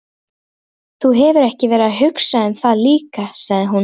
Þú hefur verið að hugsa um það líka, sagði hún.